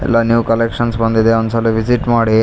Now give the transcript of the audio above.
ಎಲ್ಲಾ new collections ಬಂದಿದೆ ಒಂದ್ ಸಲ ವಿಸಿಟ್ ಮಾಡಿ .